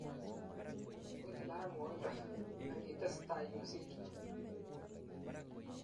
wendii barak ngoindo angitesetai iyositu